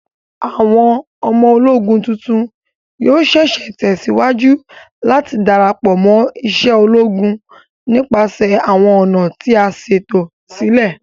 Awọn ọmọ-ologún tuntun yoo ṣee ṣe tẹsiwaju lati darapọ mo ise ologun nipasẹ awọn ọna ti a ṣeto silẹ